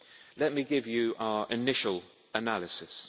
Let me give you our initial analysis.